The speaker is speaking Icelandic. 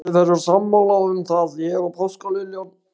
Við erum sammála um það, ég og páskaliljan.